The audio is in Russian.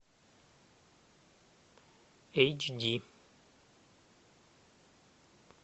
эйч ди